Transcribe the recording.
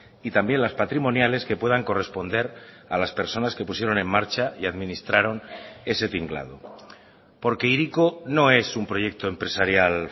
y también las patrimoniales que puedan corresponder a las personas que pusieron en marcha y administraron ese tinglado porque hiriko no es un proyecto empresarial